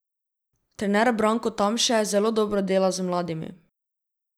Trener Branko Tamše zelo dobro dela z mladimi.